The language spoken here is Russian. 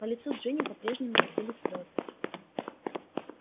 по лицу джинни по-прежнему катились слезы